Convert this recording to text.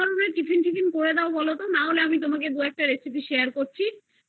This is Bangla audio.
tiffin বিফিন করে দাও বলো তো তাহলে আমি তোমাকে একটা Recipe Share করছি